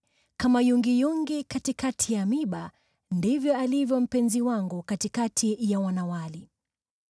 Kama yungiyungi katikati ya miiba ndivyo alivyo mpenzi wangu katikati ya wanawali.